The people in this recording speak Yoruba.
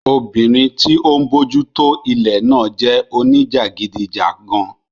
Obìnrin tí ó ń bójútó ilẹ̀ náà jẹ́ oníjàgídíjàgan